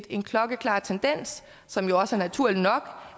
en klokkeklar tendens som jo også er naturlig nok